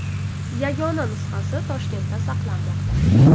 Yagona nusxasi Toshkentda saqlanmoqda.